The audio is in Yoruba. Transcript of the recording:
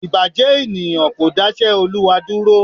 Ìbàjẹ́ ènìyàn kò dáṣẹ́ Olúwa dúró